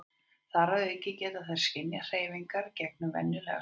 þar að auki geta þær skynjað hreyfingar gegnum venjulega sjón